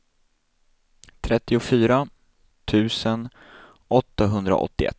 trettiofyra tusen åttahundraåttioett